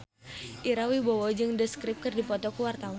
Ira Wibowo jeung The Script keur dipoto ku wartawan